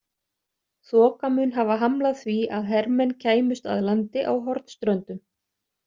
Þoka mun hafa hamlað því að hermenn kæmust að landi á Hornströndum.